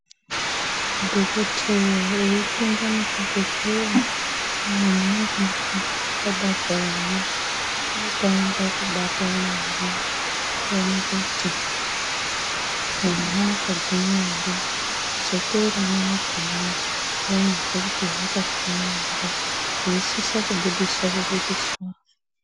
Madhokoteya eipinda muzvibhedhleya umwo munenge mwabarwe mwana anotanga kubata mwana ona kuti mwana akagwinya ere oteerazve mayakhona voonazve kuti hwakagwinya ere veisisokubudiswa vobudiswa .